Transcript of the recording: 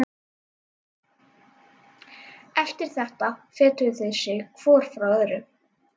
Eftir þetta fetuðu þeir sig hvor frá öðrum.